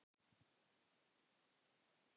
Ertu í þínu besta formi?